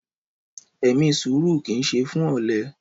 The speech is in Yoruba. Ẹmí sùrú kí ń ṣẹ fún ọlẹ